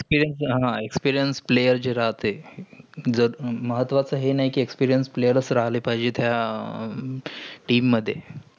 experience हा experienceplayer जै राहतेय जर महत्वाचे हेय नाही कि experienceplayer चा राहिलेत पायजेत. ह्या team मध्ये.